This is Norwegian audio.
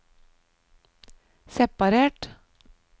separert